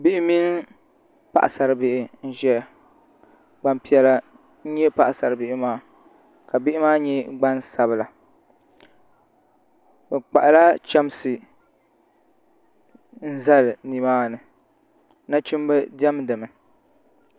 bihi mini paɣasaribihi n zaya gbampiɛla n-nyɛ paɣasaribihi maa ka bihi maa nyɛ gbansabila bɛ kpahila chamsi n zali ni maani nachimba diɛmdi mi